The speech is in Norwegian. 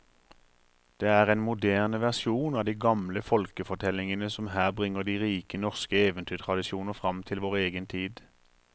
Det er en moderne versjon av de gamle folkefortellingene som her bringer de rike norske eventyrtradisjoner fram til vår egen tid.